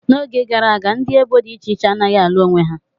Oge gara aga, ndị ebo dị iche iche anaghị alụ onwe ha.